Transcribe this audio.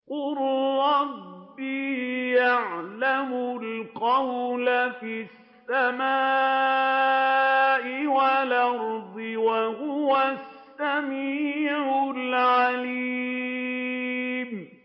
قَالَ رَبِّي يَعْلَمُ الْقَوْلَ فِي السَّمَاءِ وَالْأَرْضِ ۖ وَهُوَ السَّمِيعُ الْعَلِيمُ